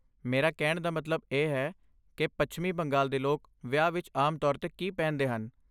ਮੇਰਾ ਕਹਿਣ ਦਾ ਮਤਲਬ ਇਹ ਹੈ ਕਿ ਪੱਛਮੀ ਬੰਗਾਲ ਦੇ ਲੋਕ ਵਿਆਹ ਵਿੱਚ ਆਮ ਤੌਰ 'ਤੇ ਕੀ ਪਹਿਨਦੇ ਹਨ।